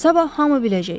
Sabah hamı biləcək.